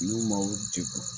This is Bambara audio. N'u m'aw degun